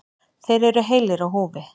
Þeir eru heilir á húfi.